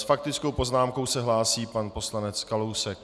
S faktickou poznámkou se hlásí pan poslanec Kalousek.